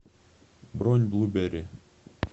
бронь блуберри